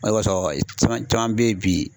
O de kosɔn caman caman bɛ yen bi